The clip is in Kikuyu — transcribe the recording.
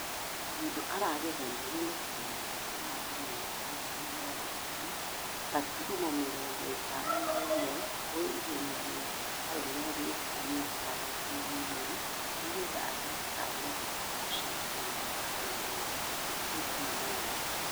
Ng'endo aragegania ni gũtengera ithaa rimwe na dagĩka mĩrongo ĩna gaturumo mĩrongo ithano na imwe gwe ihenya rĩa arũme ria mita magana manana nĩgethe agĩe kanya ga gũshidana mĩthako-inĩ ya kĩyunani.